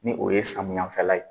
Ni o ye samiyafɛla ye